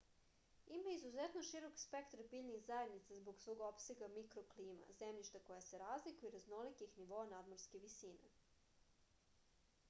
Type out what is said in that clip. ima izuzetno širok spektar biljnih zajednica zbog svog opsega mikroklima zemljišta koja se razlikuju i raznolikih nivoa nadmorske visine